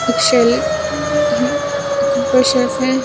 एक शेल हम ऊपर शेल है।